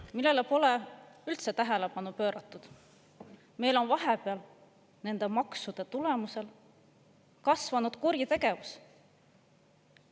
… millele pole üldse tähelepanu pööratud: meil on vahepeal maksude tulemusel kasvanud kuritegevus.